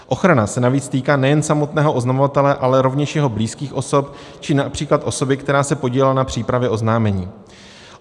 Ochrana se navíc týká nejen samotného oznamovatele, ale rovněž jeho blízkých osob či například osoby, která se podílela na přípravě oznámení.